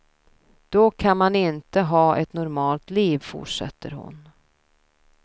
Då kan man inte ha ett normalt liv, fortsätter hon.